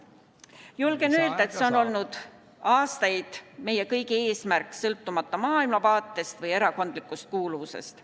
Julgen öelda, et see on olnud aastaid meie kõigi eesmärk, sõltumata maailmavaatest või erakondlikust kuuluvusest.